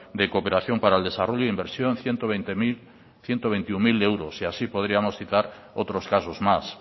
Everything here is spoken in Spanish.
de cooperación para el desarrollo inversión ciento veintiuno mil euros y así podrimos citar otros casos más